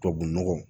Tubabu nɔgɔ